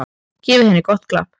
Gefið henni gott klapp.